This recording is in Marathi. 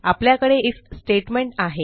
आपल्याकडे आयएफ स्टेटमेंट आहे